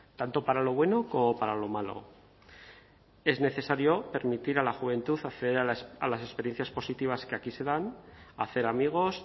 tanto para lo bueno como para lo malo es necesario permitir a la juventud acceder a las experiencias positivas que aquí se dan hacer amigos